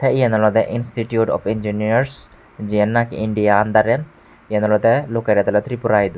yen olodey institiut of injiniers jiyen na ki india andarey yen olodey loceret awle tripuradu.